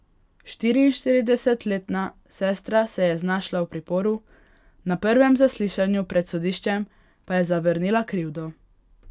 Štiriinštiridesetletna sestra se je znašla v priporu, na prvem zaslišanju pred sodiščem pa je zavrnila krivdo.